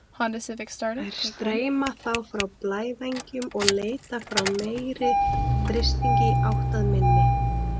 Þær streyma þá frá blævængnum og leita frá meiri þrýstingi í átt að minni.